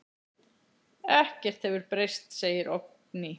Ekkert hefur breyst, segir Oddný.